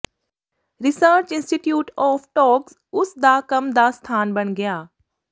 research institute of ਟੋੱਕਜ਼ ਉਸ ਦਾ ਕੰਮ ਦਾ ਸਥਾਨ ਬਣ ਗਿਆ